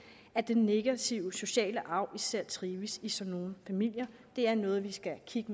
at den negative sociale arv især trives i sådan nogle familier det er noget vi skal kigge